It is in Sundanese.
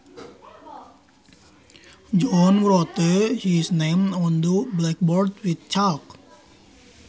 John wrote his name on the blackboard with chalk